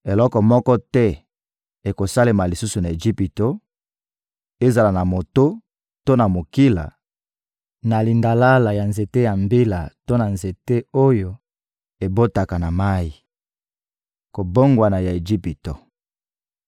Eloko moko te ekosalema lisusu na Ejipito, ezala na moto to na mokila, na lindalala ya nzete ya mbila to na nzete oyo ebotaka na mayi. Kobongwana ya Ejipito